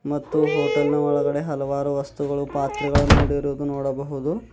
ಮತ್ತು ಹೋಟೆಲ್ ನ ಒಳಗಡೆ ಹಲವಾರು ವಸ್ತುಗಳು ಪಾತ್ರೆಗಳನ್ನು ಇಡಿರುವುದು ನೋಡಬಹುದು.